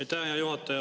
Aitäh, hea juhataja!